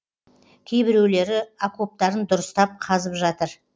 кейбіреулері окоптарын дұрыстап қазып жатыр